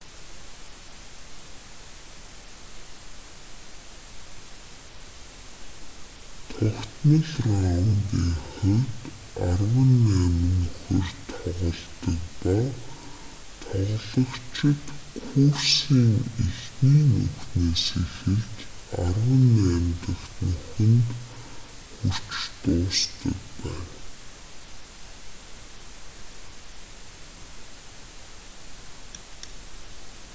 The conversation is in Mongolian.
тогтмол раундын хувьд арван найман нүхээр тоглодог ба тоглогчид курсын эхний нүхнээс эхэлж арван найм дахь нүхэнд хүрч дуусдаг байна